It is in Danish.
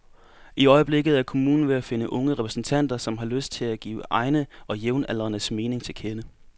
I øjeblikket er kommunen ved at finde unge repræsentanter, som har lyst til at give egne og jævnaldrendes mening til kende.